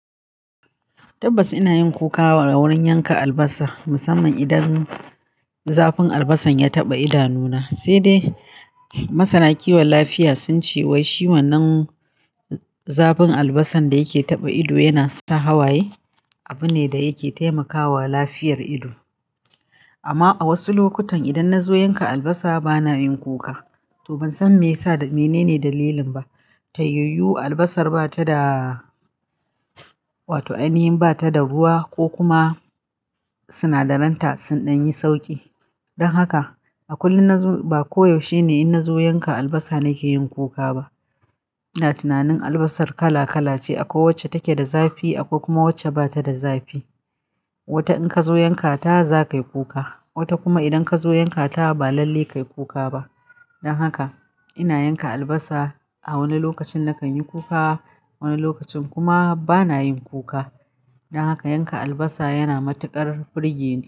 Tabbas ina yin kuka wurin yanka albasa musamman idan zafin albasan ya taɓa idanuna. Sai dai masana kiwon lafiya sun ce wai si wannan zafin albasan da yake taɓa ido yana sa hawaye, abu ne da yake taimakawa lafiyar ido. Amma a wasu lokutan idan na zo yanka albasa bana yin kuka. To ban san menene dalilin ba. Tayayu albasar ba ta da, wato ainihin bata da ruwa ko kuma sinadaran ta sun ɗan yi sauƙi. Don haka a kullum na zo, ba koyaushe ne in na zo yanka albasa nake yin kuka ba. Ina tunanin albasar kala kala ce, akwai wacce take da zafi akwai kuma wacce ba ta da zafi. Wata in ka zo yankata za ka yi kuka, wata kuma idan ka zo yankata ba lalle ka yi kuka ba. Don haka ina yanka albasa a wani lokacin nakan yi kuka, wani lokacin kuma bana yin kuka. Don haka yanka albasa yana matuƙar burgeni.